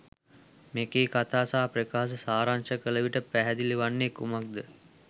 මෙකී කතා සහ ප්‍රකාශ සාරංශ කළ විට පැහැදිලි වන්නේ කුමක්ද?